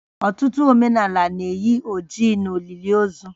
Ọtụtụ omenala na-eyi oji n'olili ozu